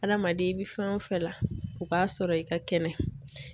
Adamaden i bɛ fɛn o fɛn la o k'a sɔrɔ i ka kɛnɛ.